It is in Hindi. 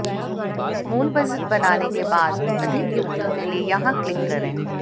मूल बजट बनाने के बारे में अधिक युक्तियों के लिए यहां क्लिक करें